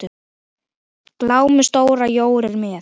Glámu stóra jór er með.